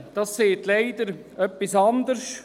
Das Gutachten sagt leider etwas anderes: